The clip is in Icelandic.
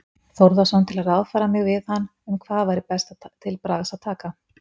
Þórðarson til að ráðfæra mig við hann um hvað væri best til bragðs að taka.